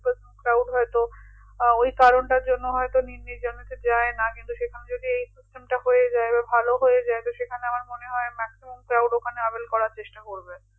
কারণ হয়তো ওই কারণটার জন্য হয়তো নীল নির্জনেতে যাই না কিন্তু সেখানে যদি এই system টা হয়ে যাই বা ভালো হয়ে যাই তো সেখানে আমার মনে হয় maximum crowd able করার চেষ্টা করবে